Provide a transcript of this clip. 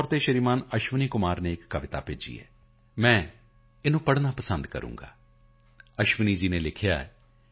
ਮੈਨੂੰ ਸ਼੍ਰੀਮਾਨ ਅਸ਼ਵਨੀ ਕੁਮਾਰ ਚੌਹਾਨ ਨੇ ਇੱਕ ਕਵਿਤਾ ਭੇਜੀ ਹੈ ਉਸ ਨੂੰ ਪੜ੍ਹਨਾ ਪਸੰਦ ਕਰਾਂਗਾ ਅਸ਼ਵਨੀ ਜੀ ਨੇ ਲਿਖਿਆ ਹੈ